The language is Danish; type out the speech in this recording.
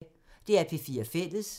DR P4 Fælles